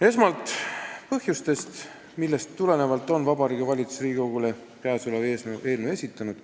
Esmalt põhjustest, millest tulenevalt on Vabariigi Valitsus käesoleva eelnõu Riigikogule esitanud.